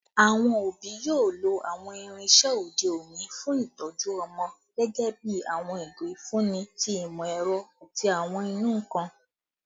Awọn obi yoo lo awọn irinṣẹ ode oni fun itọju ọmọ, gẹgẹbi awọn igo ifunni ti imọ-ẹrọ ati awọn inunkan